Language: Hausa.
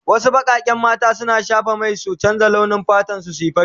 Wasu bakaken mata suna shafa mai su canza launi fatan su zuwa fari.